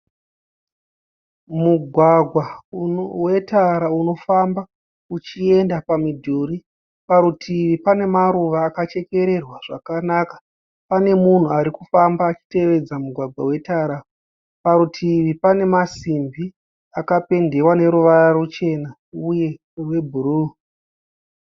Mugwagwa wetara unofamba uchienda pamidhuri. Parutivi pane maruva akachekererwa zvakanaka. Pane munhu ari kufamba achitevedza mugwagwa wetara. Parutivi pane masimbi akapendewa neruvara ruchena uye rwebhuruu.